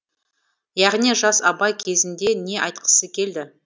яғни жас абай кезінде не айтқысы келді